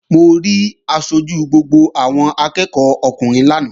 Mo rí aṣojú gbogbo àwọn akẹ́ẹ̀kọ́ ọkùnrin lánàá